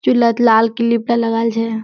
चुल हेत लाल क्लिप एकटा लगाल छै।